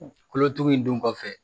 Kulo tugu in dun kɔfɛ